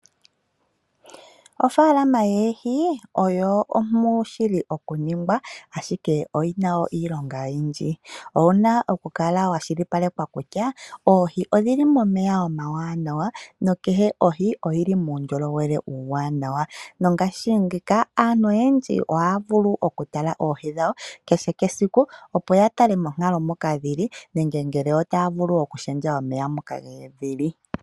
Ofaalama yoohi ompu shili okuningwa, ashike oyi na wo iilonga oyindji, owu na okukala wa kwashilipaleka kutya oohi odhi li momeya omawaanawa nakehe ohi oyi li muundjolowele uuwanawa nongashingeyi aantu oyendji ohaya vulu okutala oohi dhawo kehe esiku opo ya tale monkalo moka dhi li nenge ngele otaya vulu okulundulula omeya moka dhili.